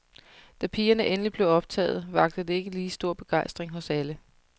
Da pigerne endelig blev optaget, vakte det ikke lige stor begejstring hos alle.